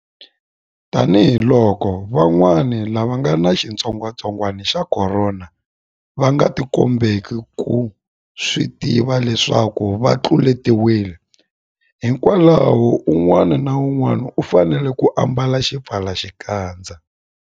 Tanihiloko vanhu van'wana lava nga ni xitsongwantsongwana xa Khorona va nga tikombeki kumbe ku swi tiva leswaku va tluletiwile, hikwalaho un'wana na un'wana u fanele ku ambala xipfalaxikandza.